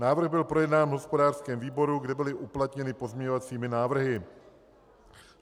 Návrh byl projednán v hospodářském výboru, kde byly uplatněny pozměňovací návrhy.